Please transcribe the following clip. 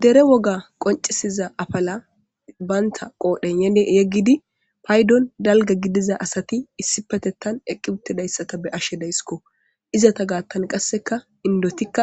Dere woga qoncisiza apala banta qodhen yegid paydon cora asati eqi uutidaysa ta be'ashe daysko, izeta gathan qaseka inditika